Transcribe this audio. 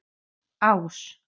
Ás